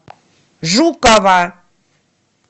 жукова